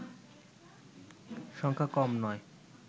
সংখ্যা কম নয়